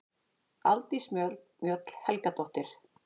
Aldís Mjöll Helgadóttir